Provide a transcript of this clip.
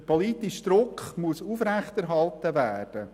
Der politische Druck muss aufrechterhalten werden.